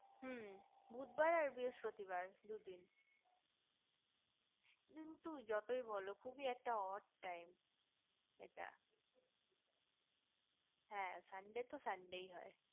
হু বুধবার আর বৃহস্পতিবার দুদিন কিন্তু যতই বোলো খুবই একটা ot time এটা হে sunday তো sunday ই হয়